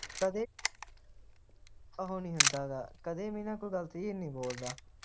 ਕਦੇ ਉਹ ਨਹੀਂ ਹੁੰਦਾ ਹੈਗਾ ਕਦੇ ਵੀ ਕੋਈ ਗੱਲ ਨਾ clear ਨਹੀਂ ਬੋਲਦਾ